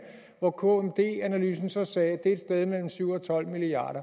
hvor kmd analysen så sagde at det et sted mellem syv og tolv milliard